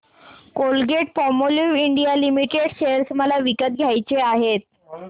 Colgate Palmolive India limited share मला विकत घ्यायचे आहेत